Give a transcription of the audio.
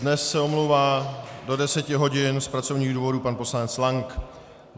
Dnes se omlouvá do deseti hodin z pracovních důvodů pan poslanec Lank.